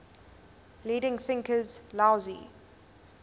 leading thinkers laozi